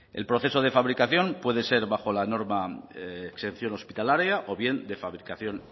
el proceso de fabricación puede ser bajo la norma exención hospitalaria o bien de fabricación